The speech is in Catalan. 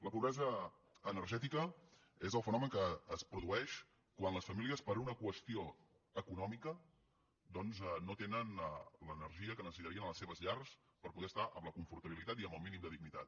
la pobresa energètica és el fenomen que es produeix quan les famílies per una qüestió econòmica doncs no tenen l’energia que necessitarien a les seves llars per poder estar amb confortabilitat i amb el mínim de dignitat